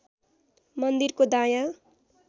मन्दिरको दायाँ